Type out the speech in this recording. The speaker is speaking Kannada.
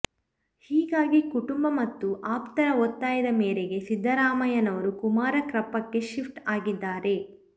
ಹೀಗಾಗಿ ಕುಟುಂಬ ಮತ್ತು ಆಪ್ತರ ಒತ್ತಾಯದ ಮೇರೆಗೆ ಸಿದ್ದರಾಮಯ್ಯನವರು ಕುಮಾರಕೃಪಾಕ್ಕೆ ಶಿಫ್ಟ್ ಆಗಿದ್ದಾರೆ